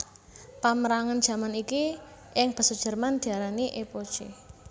Pamérangan jaman iki ing basa Jerman diarani Epoche